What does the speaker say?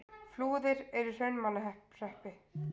Flúðir er í Hrunamannahreppi.